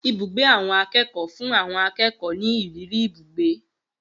Ibùgbé àwọn akékòó fún àwon akékòó mi ìrírí ibugbe